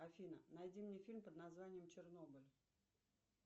афина найди мне фильм под названием чернобыль